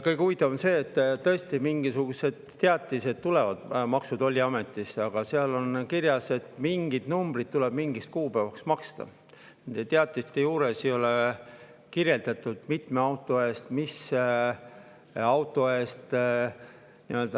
Kõige huvitavam on see, et tõesti tulevad mingisugused teatised Maksu‑ ja Tolliametist ning seal on kirjas, et mingid tuleb mingiks kuupäevaks maksta, aga ei ole kirjeldatud, mitme auto eest või mis auto eest.